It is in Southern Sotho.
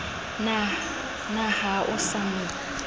na ha o sa mo